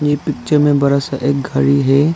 ये पिक्चर में बड़ा एक घड़ी है।